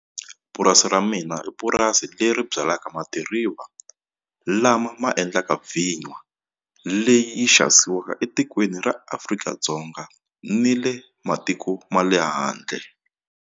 Purasi ra mina i purasi leri byalaka madiriva lama ma endlaka vinya leyi xavisiwaka etikweni ra Afrika-Dzonga ni le matiko ma le handle.